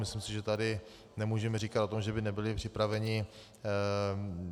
Myslím si, že tady nemůžeme říkat o tom, že by nebyli připraveni.